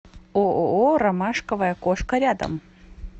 ооо ромашковая кошка рядом